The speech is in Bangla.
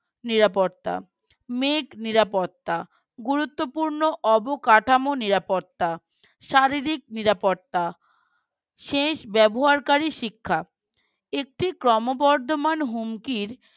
নিরাপত্তা মেঘ নিরাপত্তা গুরুত্বপূর্ণ অবকাঠামো নিরাপত্তা শারীরিক নিরাপত্তা শেষ ব্যবহারকারী শিক্ষা একটি ক্রমবর্ধমান হুমকির